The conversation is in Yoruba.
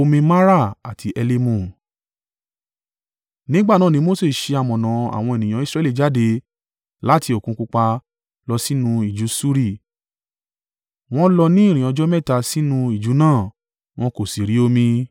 Nígbà náà ni Mose ṣe amọ̀nà àwọn ènìyàn Israẹli jáde láti Òkun Pupa lọ sínú ijù Ṣuri. Wọ́n lọ ní ìrìn ọjọ́ mẹ́ta sínú ijù náà, wọn kò sì rí omi.